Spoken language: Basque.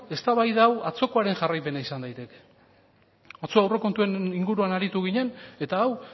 eztabaida hau atzokoaren jarraipena izan daiteke atzo aurrekontuen inguruan aritu ginen eta hau